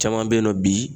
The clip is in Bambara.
Caman bɛ yen nɔ bi